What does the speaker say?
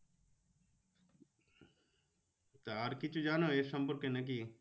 তা আর কিছু জানো এর সম্পর্কে নাকি?